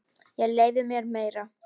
Ég leyfi mér meira.